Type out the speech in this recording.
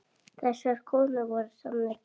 Þessar konur voru sannir bændur.